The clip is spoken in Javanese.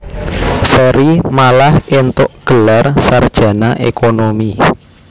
Ferry malah éntuk gelar sarjana ékonomi